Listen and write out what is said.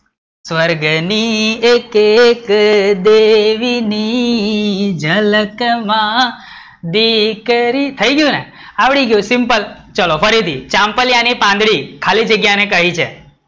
સ્વર્ગની એકે એક દેહીની ઝલક માં દીકરી, થઇ ગયું ને, આવડી ગયું, simpal ચલો ફરીથી, ચાંપલિયાની પાંદડી ખાલી જગ્યા ને કહી છે